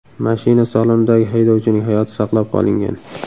Mashina salonidagi haydovchining hayoti saqlab qolingan.